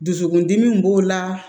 Dusukundimi b'o la